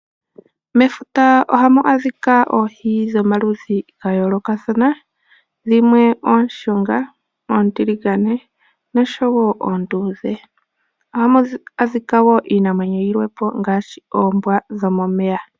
Mefuta ohamu adhika oohi dhomaludhi ga yoloka dhimwe oshunga, ontiligane noshowo ondudhe. Ohamu adhika wo iinamwenyi yimwepo ngashi oombwa dhomomeya.